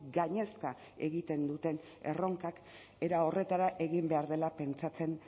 gainezka egiten duten erronkak era horretara egin behar dela pentsatzen